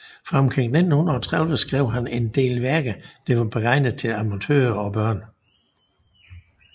Fra omkring 1930 skrev han en del værker der var beregnet til amatører og børn